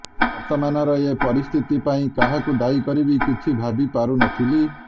ବର୍ତ୍ତମାନର ଏ ପରିସ୍ଥିତି ପାଇଁ କାହାକୁ ଦାୟୀ କରିବି କିଛି ଭାବି ପାରୁନଥିଲି